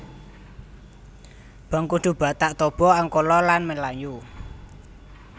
Bangkudu Batak Toba Angkola lan Melayu